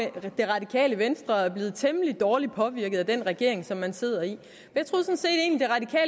det radikale venstre er blevet temmelig dårligt påvirket af den regering som man sidder i